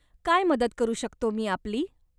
काय मदत करू शकतो मी आपली.